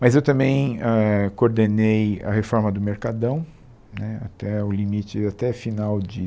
Mas eu também eh coordenei a reforma do Mercadão né, até o limite, até final de